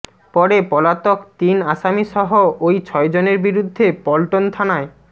পরে পলাতক তিন আসামিসহ ওই ছয়জনের বিরুদ্ধে পল্টন থানায়